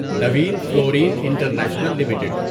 Naveen fluorine international limited